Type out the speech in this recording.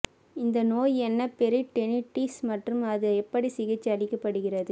இந்த நோய் என்ன பெரிட்டோனிட்டிஸ் மற்றும் அது எப்படி சிகிச்சை அளிக்கப்படுகிறது